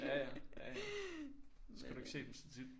Ja ja. Ja ja så skal du ikke se dem så tit